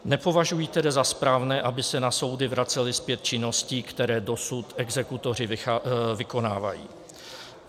Nepovažuji tedy za správné, aby se na soudy vracely zpět činnosti, které dosud exekutoři vykonávají.